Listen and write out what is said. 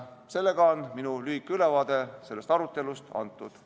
Sellega on minu lühike ülevaade sellest arutelust antud.